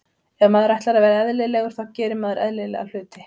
Ef maður ætlar að vera eðlilegur þá gerir maður eðlilega hluti.